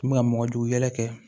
U tun bɛ ka mɔgɔ jugu yɛlɛkɛ